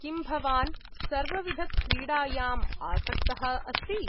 किं भवान् सर्वविधक्रीडायाम् आसक्तः अस्ति?